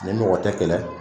Ni mɔgɔ tɛ kɛlɛ